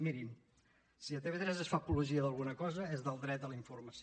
mirin si a tv3 es fa apologia d’alguna cosa és del dret a la informació